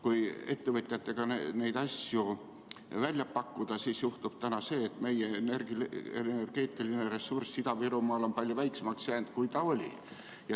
Kui ettevõtjatega neid asju välja pakkuda, siis selgub, et meie energeetiline ressurss Ida-Virumaal on palju väiksemaks jäänud, kui ta oli.